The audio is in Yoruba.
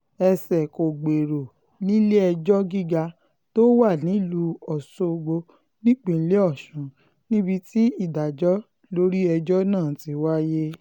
ẹsẹ̀ kò gbèrò nílé-ẹjọ́ gíga tó wà nílùú ọ̀ṣọ́gbó nípínlẹ̀ ọ̀sùn níbi tí ìdájọ́ lórí ẹjọ́ náà ti wáyé